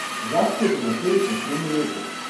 Z akcijo so začeli pred tremi leti.